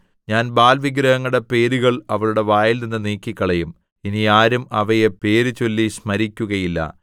ഞാൻ ബാല്‍ വിഗ്രഹങ്ങളുടെ പേരുകൾ അവളുടെ വായിൽനിന്ന് നീക്കിക്കളയും ഇനി ആരും അവയെ പേര് ചൊല്ലി സ്മരിക്കുകയുമില്ല